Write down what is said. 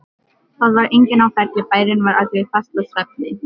Það var enginn á ferli, bærinn var allur í fastasvefni.